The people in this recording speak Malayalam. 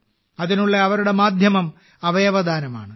അതിനുള്ള അവരുടെ മാധ്യമം അവയവദാനമാണ്